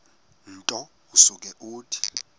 nto usuke uthi